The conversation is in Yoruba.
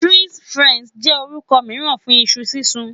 Fries Faranse jẹ orukọ miiran fun iṣu sisun